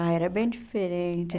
Ah, era bem diferente.